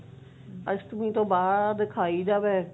ਅਸ਼ਟਮੀ ਤੋਂ ਬਾਅਦ ਖਾਈ